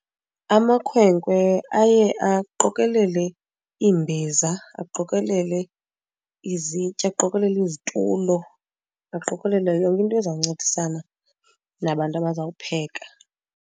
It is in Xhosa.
Amakhwenkwe aye aqokelele iimbiza, aqokelele izitya, aqokolele izitulo, aqokelele yonke into ezawuncedisana nabantu abazawupheka.